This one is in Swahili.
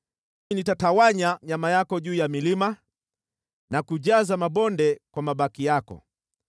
Nitatawanya nyama yako juu ya milima na kujaza mabonde kwa mabaki yako.